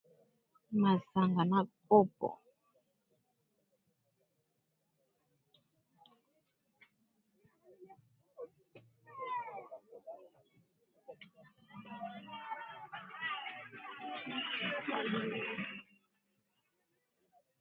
Mulangi ya masanga ya makasi eza na bongela oyo eza na masanga ya ndambu eza na ba sani ya biloko eza likolo ya mesa.